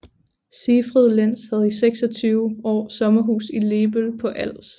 Siegfried Lenz havde i 26 år sommerhus i Lebøl på Als